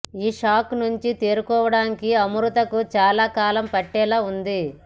ఈ షాక్ నుంచి తేరుకోవడానికి అమృతకు చాలా కాలం పట్టేలా ఉంది